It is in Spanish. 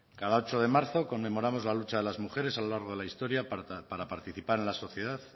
cada ocho de marzo conmemoramos la lucha de las mujeres a lo largo de la historia para participar en la sociedad